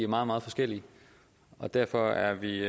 meget meget forskellige derfor er vi